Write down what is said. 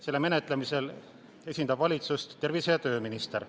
Selle menetlemisel esindab valitsust tervise- ja tööminister.